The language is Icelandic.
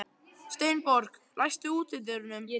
Steinborg, læstu útidyrunum.